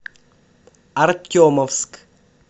артемовск